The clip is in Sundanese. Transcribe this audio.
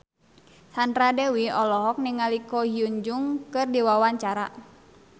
Sandra Dewi olohok ningali Ko Hyun Jung keur diwawancara